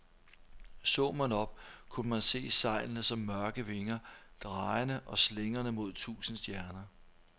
Så man op, kunne man se sejlene som mørke vinger, drejende og slingrende mod tusinde stjerner.